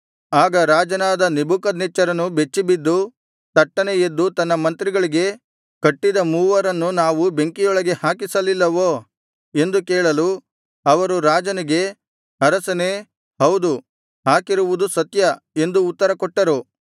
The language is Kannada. ಆಗ ರಾಜನಾದ ನೆಬೂಕದ್ನೆಚ್ಚರನು ಬೆಚ್ಚಿಬಿದ್ದು ತಟ್ಟನೆ ಎದ್ದು ತನ್ನ ಮಂತ್ರಿಗಳಿಗೆ ಕಟ್ಟಿದ ಮೂವರನ್ನು ನಾವು ಬೆಂಕಿಯೊಳಗೆ ಹಾಕಿಸಲಿಲ್ಲವೋ ಎಂದು ಕೇಳಲು ಅವರು ರಾಜನಿಗೆ ಅರಸನೇ ಹೌದು ಹಾಕಿರುವುದು ಸತ್ಯ ಎಂದು ಉತ್ತರಕೊಟ್ಟರು